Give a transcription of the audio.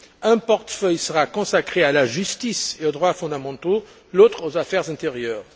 Un portefeuille sera consacré à la justice et aux droits fondamentaux, l'autre aux affaires intérieures.